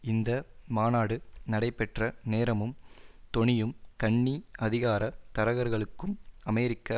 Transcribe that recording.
இந்த மாநாடு நடைபெற்ற நேரமும் தொனியும் கன்னி அதிகார தரகர்களுக்கும் அமெரிக்க